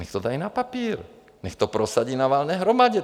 Nechť to dají na papír, nechť to prosadí na valné hromadě.